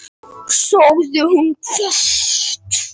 sagði hún hvasst.